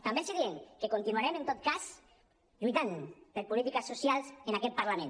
també els diem que continuarem en tot cas lluitant per polítiques socials en aquest parlament